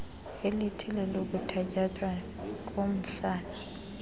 elithile lokuthatyathwa komhlala